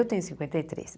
Eu tenho cinquenta e três.